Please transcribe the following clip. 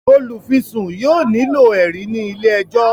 olufisun yóò nilo ẹrí ní ilé ẹjọ